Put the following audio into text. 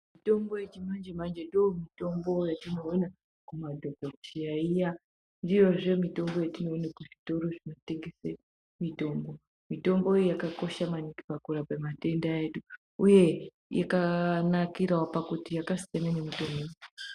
Mitombo yechiyungu manje ndomitombo yetinoona kumadhokodheya iya. Ndiyozve mitombo yetinoone kuzvitoro zvinotengese mitombo. Mitombo iyi yakakosha maningi pakurape matenda edu, uye yakanakirawo pakuti yakasiyana nemitombo yedu.